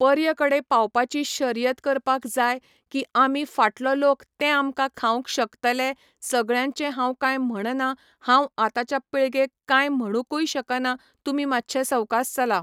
पर्य कडे पावपाची शर्यत करपाक जाय की आमी फाटलो लोक ते आमकां खावंक शकतले सगळ्यांचे हांव कांय म्हणना हांव आताच्या पिळगेक कांय म्हणकूय शकना तुमी मातशे सवकास चला